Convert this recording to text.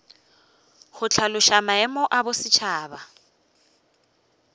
go hlaloša maemo ya bosetšhaba